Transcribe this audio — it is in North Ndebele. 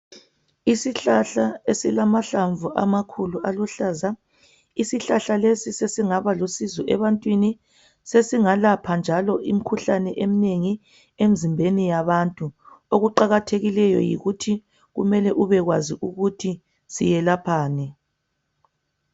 isihlahla esiluhlaza ishlahla lesi sesingaba lusizo ebantwini sesingalapha nja imikhuhlane eminengi emzimbeni yabantu okuqakathekileyo yikuthi kumele ube kwazi ukuthi selaphani